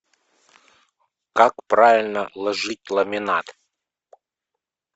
как правильно ложить ламинат